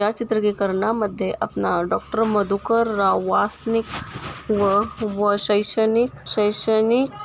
या चित्रीकरणामध्ये अपना डॉक्टर मधुकर राव वासनिक व शैक्षणिक शैक्षणिक--